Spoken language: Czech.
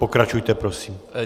Pokračujte prosím.